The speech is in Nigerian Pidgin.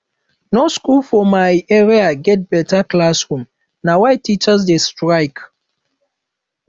no skool for my area get beta classroom na why teachers dey strike